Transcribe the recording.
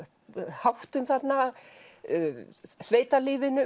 háttum þarna